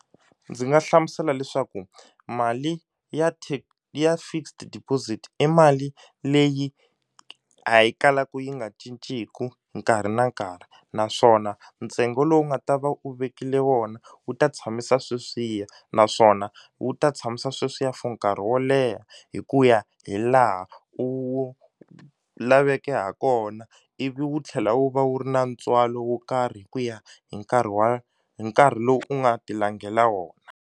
Ndzi nga hlamusela leswaku mali ya ya fixed deposit i mali leyi a yi kalaku yi nga cinceku nkarhi na nkarhi naswona ntsengo lowu nga ta va u vekile wona wu ta tshamisa sweswiya naswona wu ta tshamisa sweswiya for nkarhi wo leha hi ku ya hi laha u laveke ha kona ivi wu tlhela wu va wu ri na ntswalo wo karhi hi ku ya hi nkarhi wa hi nkarhi lowu u nga ti langela wona.